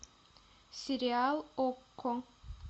сериал окко